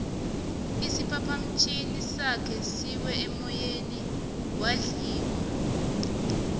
isiphaphamtjhini sakhe siwe emoyeni wadliwa